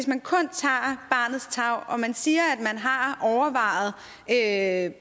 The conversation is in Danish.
man kun tager barnets tarv og man siger at